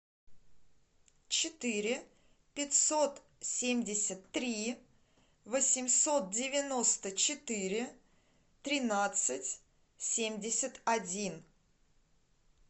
четыре пятьсот семьдесят три восемьсот девяносто четыре тринадцать семьдесят один